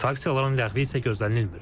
Sanksiyaların ləğvi isə gözlənilmir.